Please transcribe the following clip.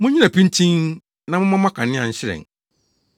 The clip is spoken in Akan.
“Munnyina pintinn na momma mo akanea nhyerɛn,